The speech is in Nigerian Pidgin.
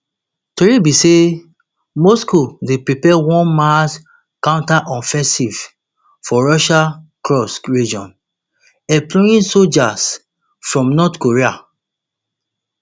tori be say moscow dey prepare one mass counteroffensive for russia kursk region employing soldiers from north korea